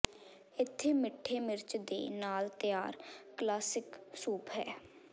ਇੱਥੇ ਮਿੱਠੇ ਮਿਰਚ ਦੇ ਨਾਲ ਤਿਆਰ ਕਲਾਸਿਕ ਸੂਪ ਹੈ